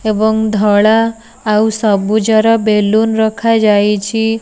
ଏବଂ ଧଳା ଆଉ ସବୁଜର ବେଲୁନ ରଖାଯାଇଛି।